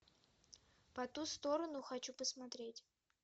по ту сторону хочу посмотреть